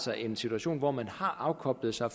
her en situation hvor man har afkoblet sig